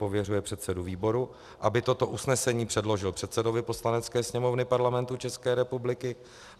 Pověřuje předsedu výboru, aby toto usnesení předložil předsedovi Poslanecké sněmovny Parlamentu České republiky.